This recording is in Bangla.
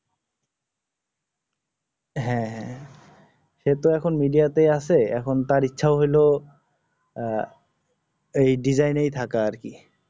হ্যাঁ হ্যাঁ সে তো এখন media তে আছে এখন তার ইচ্ছা হল আহ এই design এই থাকা আর কি